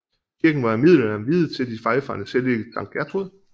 Kirken var i middelalderen viet til de vejfarendes hellige Sankt Gertrud